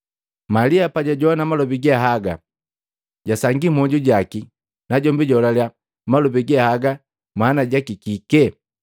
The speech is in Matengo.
Malia pajajowana malobi ge haga, jasangia mmwoju jaki, najombi jaholalya malobi ge haga manaki je kike?